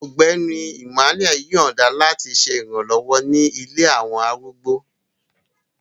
Ọgbẹni Emmanuel yọọda lati ṣe iranlọwọ ni ilé awọn arúgbó